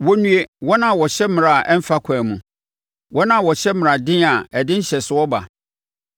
Wɔnnue, wɔn a wɔhyɛ mmara a ɛmmfa ɛkwan mu, wɔn a wɔhyɛ mmaraden a ɛde nhyɛsoɔ ba,